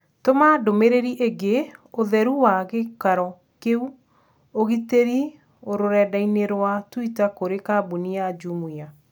Tũma ndũmĩrĩri ĩgiĩ ũtheru wa gĩikaro kĩu ũgitĩri rũrenda-inī rũa tũita kũrĩ kambuni ya Jumia